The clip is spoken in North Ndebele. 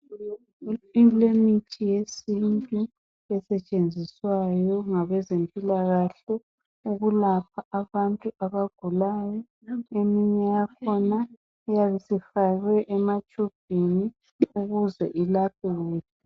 Kulemithi yesintu esetshenziswayo ngabezempilakahle ukulapha abantu abagulayo eminye yakhona iyabe isifakwe ematshubhini ukuze ilaphe kuhle.